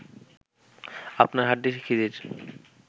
আপনার হাড্ডি খিজির